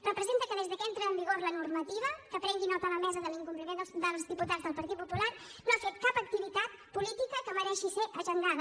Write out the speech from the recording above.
representa que des de que entra en vigor la normativa que prengui nota la mesa de l’incompliment dels diputats del partit popular no ha fet cap activitat política que mereixi ser agendada